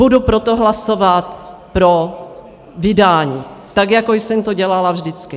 Budu proto hlasovat pro vydání, tak jako jsem to dělala vždycky.